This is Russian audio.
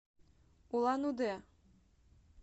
улан удэ